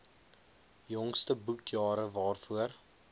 jongste boekjare waarvoor